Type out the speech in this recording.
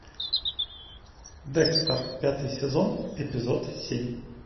декстер пятый сезон эпизод семь